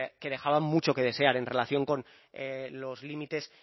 que dejaban mucho que desear en relación con los límites